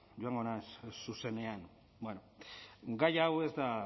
joango naz zuzenean bueno gai hau ez da